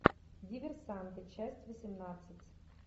диверсанты часть восемнадцать